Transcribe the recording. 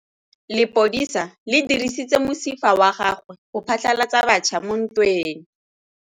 Lepodisa le dirisitse mosifa wa gagwe go phatlalatsa batšha mo ntweng.